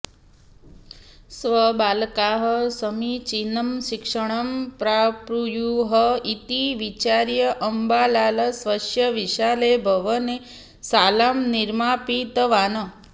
स्वबालकाः समीचीनं शिक्षणं प्राप्नुयुः इति विचार्य अम्बालाल स्वस्य विशाले भवने शालां निर्मापितवान्